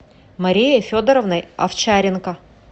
марией федоровной овчаренко